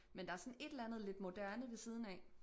Men der sådan et eller andet lidt moderne ved siden af